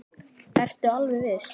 Ertu alveg viss?